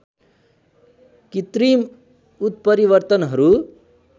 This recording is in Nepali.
कृत्रिम उत्परिवर्तनहरू